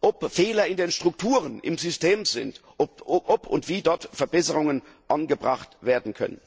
ob Fehler in den Strukturen im System liegen, ob und wie dort Verbesserungen angebracht werden können.